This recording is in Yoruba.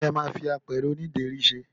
kí lẹ ma fi apẹ̀rẹ̀ oní ìdérí ṣe?